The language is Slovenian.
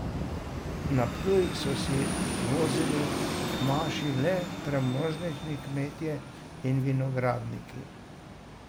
Na Ptuj so se vozili k maši le premožnejši kmetje in vinogradniki.